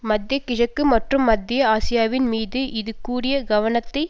மத்திய கிழக்கு மற்றும் மத்திய ஆசியாவின் மீது இது கூடிய கவனத்தை